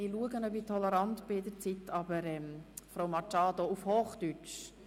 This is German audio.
– Grossrätin Machado bittet mich gerade um Toleranz bei den Redezeiten.